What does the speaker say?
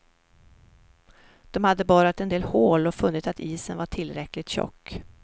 De hade borrat en del hål och funnit att isen var tillräckligt tjock.